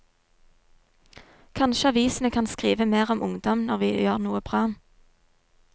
Kanskje avisene kan skrive mer om ungdom når vi gjør noe bra.